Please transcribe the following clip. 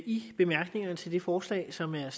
i bemærkningerne til det forslag som her er